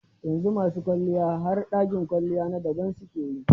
Yanzu ma su kwalliya har dakin kwalliya na daban su ke yi.